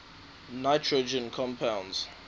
nitrogen compounds